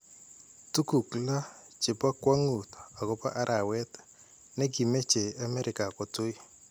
Tuguuk lo chepo kwang'uut agopo araweet negimeche amerika kotui.